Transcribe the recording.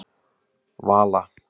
Vala